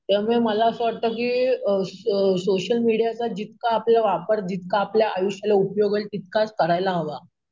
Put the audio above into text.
त्यामुळे मला असं वाटतं की अम अम सोशल मीडियाचा जितका आपला वापर जितका आपल्या आयुष्याला उपयोग आहे तितकाच करायला हवा